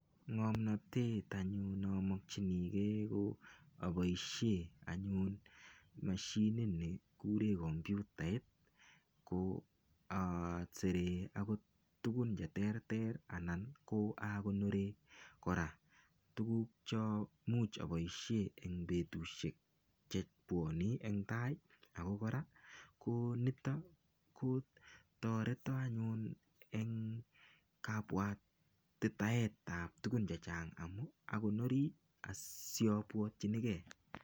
Ng'omnotet anyun nomokchinigei ko aboishe anyun mashinit ni kure komputait asere akot tukun cheterter ako akonore kora tukuk cho much aboishe eng betushek chebuone eng tai ako kora nito ko toreto anyun eng kabuatitaet ap tukun che chang amun akonori asiopuotchinigei.